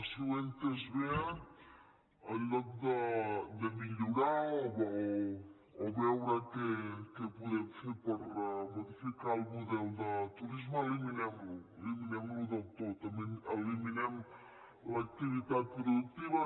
si ho he entès bé en lloc de millorar o veure què podem fer per modificar el model de turisme eliminem lo eliminem lo del tot eliminem l’activitat productiva